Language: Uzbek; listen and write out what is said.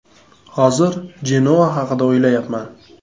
Hozir “Jenoa” haqida o‘ylayapman.